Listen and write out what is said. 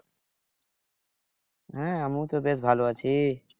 হ্যাঁ আমিও তো বেশ ভাল আছি